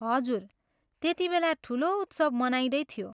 हजुर, त्यतिबेला ठुलो उत्सव मनाइँदै थियो।